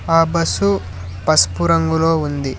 ఆ బస్సు పసుపు రంగులో ఉంది.